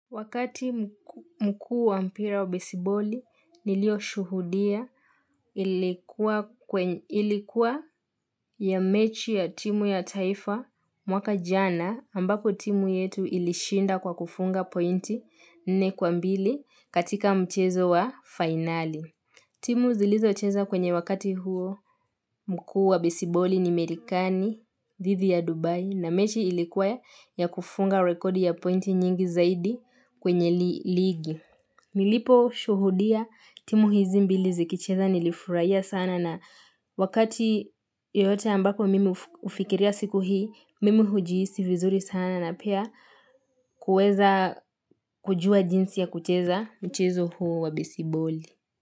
Wakati mkuu wa mpira wa besiboli nilio shuhudia Ilikuwa ya mechi ya timu ya taifa mwaka jana ambako timu yetu ilishinda kwa kufunga pointi nne kwa mbili katika mchezo wa finali. Timu zilizo cheza kwenye wakati huo mkuu wa besiboli ni Marekani, dhidi ya Dubai, na mechi ilikuwa ya kufunga rekodi ya pointi nyingi zaidi kwenye ligi. Nilipo shuhudia timu hizi mbili zikicheza nilifurahia sana na Wakati yoyote ambako mimi hufikiria siku hii, mimi hujihisi vizuri sana na pia kuweza kujua jinsi ya kucheza mchezo huo wa besiboli.